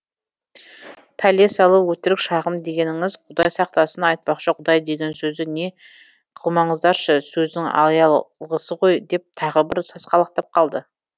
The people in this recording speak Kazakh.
пәле салу өтірік шағым дегеніңіз құдай сақтасын айтпақшы құдай деген сөзді не қылмаңыздаршы сөздің аялғысы ғой деп тағы бір сасқалақтап қалды